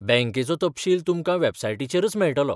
बँकेचो तपशील तुमकां बॅबसायटीचेरच मेळटलो.